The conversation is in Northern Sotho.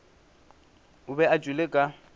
o be a tšwele ka